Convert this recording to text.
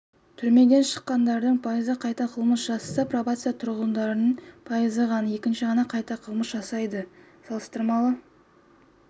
түрмеден шыққандардың пайызы қайта қылмыс жасаса пробацияда тұрғандардың пайызы ғана екінші қайтара қылмыс жасайды салыстырмалы